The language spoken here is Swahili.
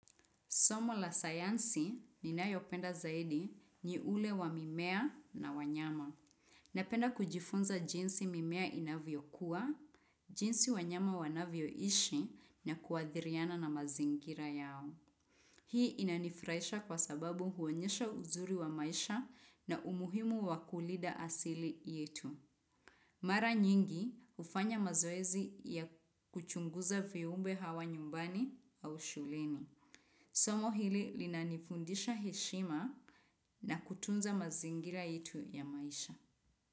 Somo la sayansi ninayopenda zaidi ni ule wa mimea na wanyama. Napenda kujifunza jinsi mimea inavyokua, jinsi wanyama wanavyoishi na kuadhiriana na mazingira yao. Hii inanifurahisha kwa sababu huonyesha uzuri wa maisha na umuhimu wakulinda asili yetu. Mara nyingi hufanya mazoezi ya kuchunguza viumbe hawa nyumbani au shuleni. Somo hili linanifundisha heshima na kutunza mazingira yetu ya maisha.